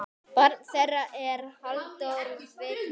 Barn þeirra er Halldór Vignir.